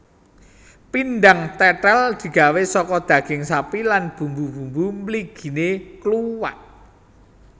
Pindang tètèl digawé saka daging sapi lan bumbu bumbu mliginé kluwek